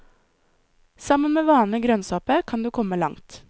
Sammen med vanlig grønnsåpe, kan du komme langt.